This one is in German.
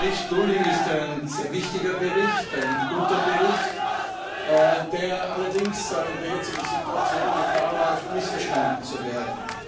Der Bericht Lulling ist ein sehr wichtiger und guter Bericht, der allerdings in der jetzigen Situation Gefahr läuft, missverstanden zu werden.